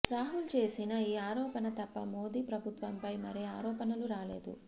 రాహుల్ చేసిన ఈ ఆరోపణ తప్ప మోదీ ప్రభుత్వంపై మరే ఆరోపణలు రాలేదు